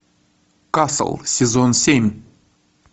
касл сезон семь